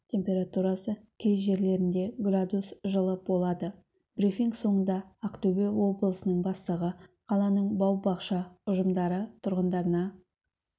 температурасы кей жерлерінде градус жылы болады брифинг соңында ақтөбе облысының бастығы қаланың бау-бақша ұжымдары тұрғындарына